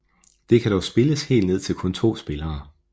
Det kan dog spilles helt ned til kun 2 spillere